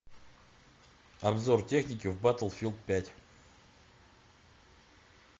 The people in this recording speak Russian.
обзор техники в батлфилд пять